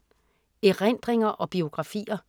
Erindringer og biografier